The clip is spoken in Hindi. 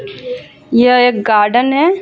यह एक गार्डन है.